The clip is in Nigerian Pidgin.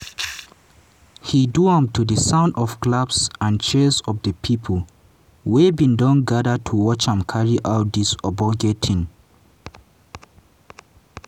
he do am to di sound of claps and cheers of di pipo wey bin don gada to watch am carry out dis ogbonge tin.